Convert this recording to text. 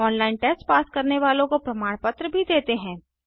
online test pass करने वालों को प्रमाण पत्र भी देते हैं